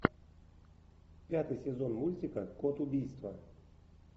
пятый сезон мультика код убийства